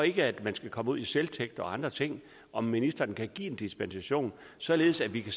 ikke skal komme ud i selvtægt og andre ting om ministeren kan give en dispensation således at vi kan